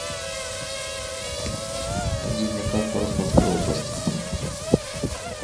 найди мне карту ростовской области